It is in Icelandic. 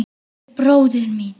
Eldri bróður míns?